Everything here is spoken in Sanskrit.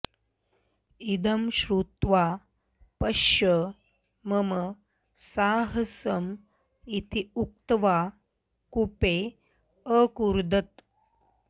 इदं श्रुत्वा पश्य मम साहसम् इति उक्त्वा कूपे अकूर्दत